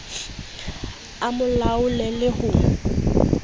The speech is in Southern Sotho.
a mo laole le ho